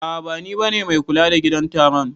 A'a bani bane mai kula da gidan staron.